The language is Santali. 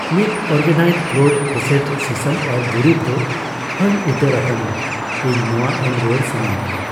ᱢᱤᱫ ᱚᱨᱜᱟᱱᱟᱭᱤᱡᱰ ᱠᱚᱞᱰ ᱯᱨᱚᱥᱮᱥᱰ ᱥᱤᱥᱟᱹᱢ ᱚᱭᱮᱞ ᱫᱩᱨᱤᱵᱽ ᱫᱚ ᱦᱟᱹᱱ ᱩᱛᱟᱹᱨ ᱟᱠᱟᱱᱟ ᱤᱧ ᱱᱚᱣᱟ ᱮᱢ ᱨᱩᱣᱟᱹᱲ ᱥᱟᱹᱱᱟᱹᱧ ᱠᱟᱱᱟ ᱾